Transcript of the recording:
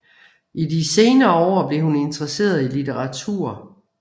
I de senere år blev hun interesseret i litteratur